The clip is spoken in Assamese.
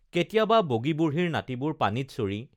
কেতিয়াবা বগী বুঢ়ীৰ নাতিবোৰ পানীত চৰি